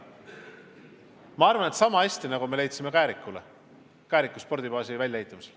Ma arvan, et sama hea lahendus, nagu me leidsime Kääriku spordibaasi väljaehitamisele.